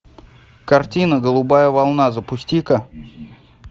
картина голубая волна запусти ка